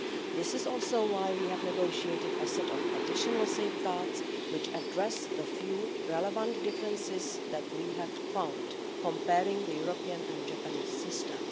This is also why we have negotiated a set of additional safeguards, which address the few relevant differences that we have found comparing the European and Japanese systems.